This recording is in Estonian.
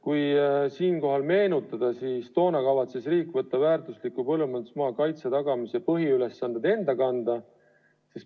Kui meenutada, siis toona kavatses riik võtta väärtusliku põllumajandusmaa kaitse tagamise põhiülesanded enda kanda.